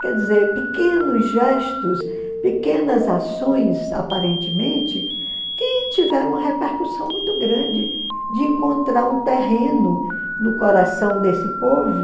Quer dizer, pequenos gestos, pequenas ações, aparentemente, que tiveram uma repercussão muito grande de encontrar um terreno no coração desse povo